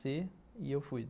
Ser, e eu fui.